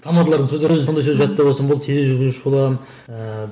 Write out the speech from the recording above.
тамадалардың сөздері өзі сондай сөз жаттап алсам болды тележүргізуші боламын ыыы